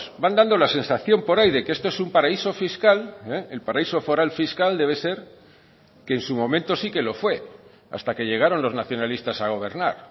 van dando la sensación por ahí de que esto es un paraíso fiscal el paraíso foral fiscal debe ser que en su momento sí que lo fue hasta que llegaron los nacionalistas a gobernar